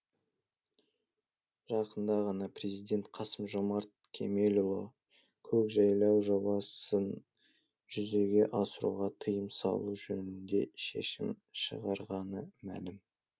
жақында ғана президент қасым жомарт кемелұлы көкжайлау жобасын жүзеге асыруға тыйым салу жөнінде шешім шығарғаны мәлім